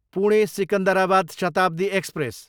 Pune, Secunderabad Shatabdi express